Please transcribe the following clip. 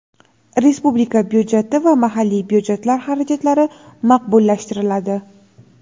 respublika byudjeti va mahalliy byudjetlar xarajatlari maqbullashtiriladi.